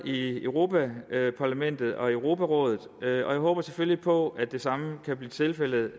i europa parlamentet og europarådet og jeg håber selvfølgelig på at det samme kan blive tilfældet